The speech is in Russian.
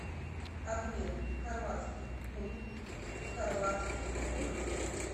обмен хорватских кун в хорватских кунах